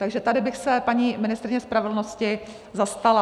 Takže tady bych se paní ministryně spravedlnosti zastala.